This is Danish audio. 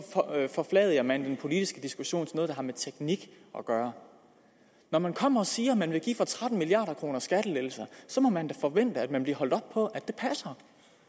forfladiger man den politiske diskussion noget der har med teknik at gøre når man kommer og siger at man vil give skattelettelser for tretten milliard kr så må man da forvente at man bliver holdt op på at det passer